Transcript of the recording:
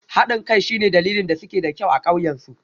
Haɗin kai shine dalilin da suke da kyau a ƙauyen su